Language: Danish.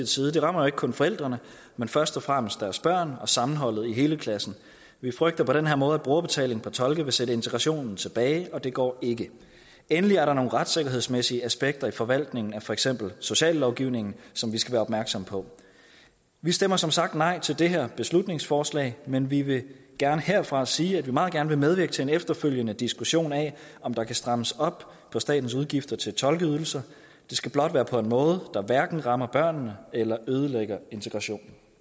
side det rammer ikke kun forældrene men først og fremmest deres børn og sammenholdet i hele klassen vi frygter på den her måde at brugerbetaling på tolke vil sætte integrationen tilbage og det går ikke endelig er der nogle retssikkerhedsmæssige aspekter i forvaltningen af for eksempel sociallovgivningen som vi skal være opmærksomme på vi stemmer som sagt nej til det her beslutningsforslag men vi vil gerne herfra sige at vi meget gerne vil medvirke til en efterfølgende diskussion af om der kan strammes op på statens udgifter til tolkeydelser det skal blot være på en måde der hverken rammer børnene eller ødelægger integrationen